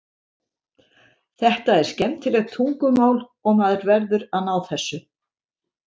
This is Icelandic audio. Þetta er skemmtilegt tungumál og maður verður að ná þessu.